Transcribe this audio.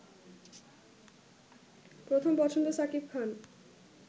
প্রথম পছন্দ শাকিব খান